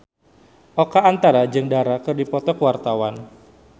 Oka Antara jeung Dara keur dipoto ku wartawan